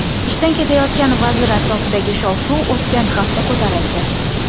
Ishdan ketayotgan vazir atrofidagi shov-shuv o‘tgan hafta ko‘tarildi.